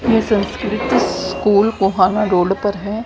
ये संस्कृत स्कूल कोहाना रोल्ड पर है।